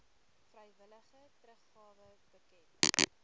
vrywillige teruggawe bekend